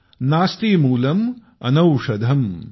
नास्ति मूलम् अनौषधम् ।।